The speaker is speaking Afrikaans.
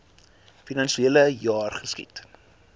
finansiele jaar geskied